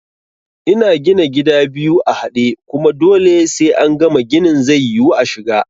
Ina gina gida biyu a haɗe, kuma dole sai angama ginin zai yiwu ashiga